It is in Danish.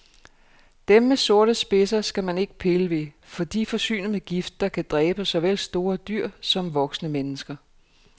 Dem med sorte spidser skal man ikke pille ved, for de er forsynet med gift, der kan dræbe såvel store dyr som voksne mennesker.